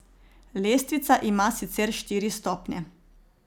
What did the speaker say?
Lestvica ima sicer štiri stopnje.